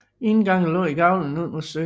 Indgangen lå i gavlen ud mod søen